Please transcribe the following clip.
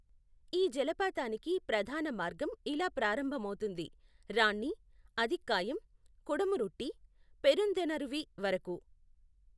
ఈ జలపాతానికి ప్రధాన మార్గం ఇలా ప్రారంభమవుతుంది రాన్ని, అథిక్కాయం, కుడమురుట్టి, పెరుందెనరువి వరకు.